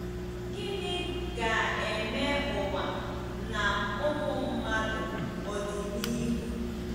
“Gịnị ga-eme ụwa na ụmụ mmadụ ọdịnihu?